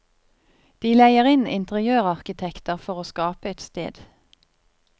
De leier inn interiørarkitekter for å skape et sted.